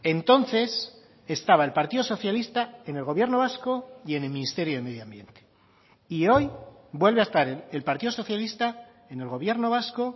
entonces estaba el partido socialista en el gobierno vasco y en el ministerio de medio ambiente y hoy vuelve a estar el partido socialista en el gobierno vasco